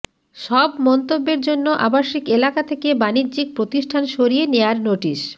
সব মন্তব্যের জন্য আবাসিক এলাকা থেকে বাণিজ্যিক প্রতিষ্ঠান সরিয়ে নেয়ার নোটিশ